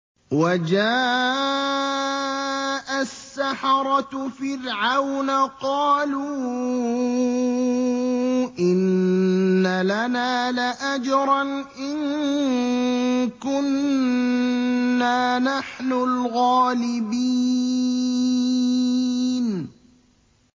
وَجَاءَ السَّحَرَةُ فِرْعَوْنَ قَالُوا إِنَّ لَنَا لَأَجْرًا إِن كُنَّا نَحْنُ الْغَالِبِينَ